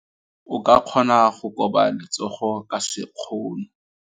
O ka kgona go koba letsogo ka sekgono.